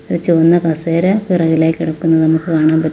ഒരു ചുവന്ന കസേര പിറകിലായി കിടക്കുന്നത് നമുക്ക് കാണാൻ പറ്റു--